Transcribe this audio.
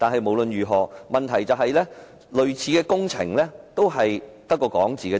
無論如何，問題是類似工程淪為空談。